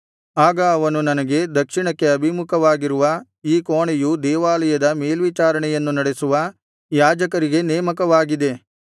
ಆಗ ಅವನು ನನಗೆ ದಕ್ಷಿಣಕ್ಕೆ ಅಭಿಮುಖವಾಗಿರುವ ಈ ಕೋಣೆಯು ದೇವಾಲಯದ ಮೇಲ್ವಿಚಾರಣೆಯನ್ನು ನಡೆಸುವ ಯಾಜಕರಿಗೆ ನೇಮಕವಾಗಿದೆ